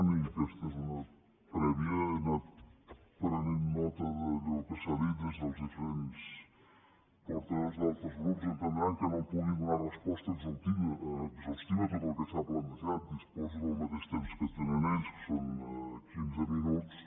i aquesta és una prèvia he anat prenent nota d’allò que s’ha dit des dels diferents portaveus d’altres grups entendran que no pugui donar resposta exhaustiva a tot el que s’ha plantejat disposo del mateix temps que tenen ells que són quinze minuts